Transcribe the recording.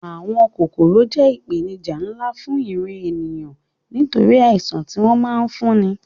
Àwọn kòkòrò jẹ́ ìpèníjà nlá fún ìran ènìyàn nítorí àìṣàn tí wọ́n ma ń fúnni